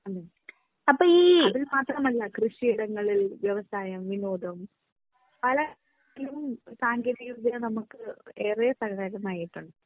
ഹ്മ് അത് മാത്രമല്ല കൃഷിയിടങ്ങളിൽ വ്യവസായം വിനോദം പല സാങ്കേന്തിക വിദ്യ നമുക്ക് ഏറെ പരിതാപകരമായിട്ടുണ്ട്.